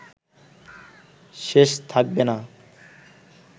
শেষ থাকবে না